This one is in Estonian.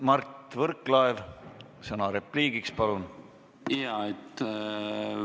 Mart Võrklaev, sõna repliigiks, palun!